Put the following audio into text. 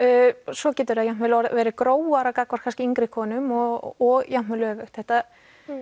svo getur það jafnvel orðið grófara gagnvart kannski yngri konum og jafnvel öfugt þetta